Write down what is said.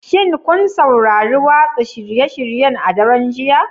Shin kun saurari watsa shirye-shiryen a daren jiya?